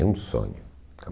É um sonho.